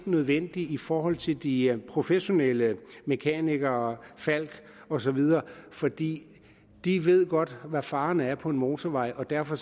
nødvendig i forhold til de professionelle mekanikere falck osv for de de ved godt hvad faren er på en motorvej og derfor